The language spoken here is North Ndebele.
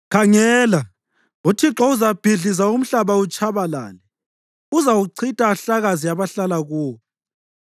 Khangela, uThixo uzabhidliza umhlaba utshabalale; uzawuchitha, ahlakaze abahlala kuwo.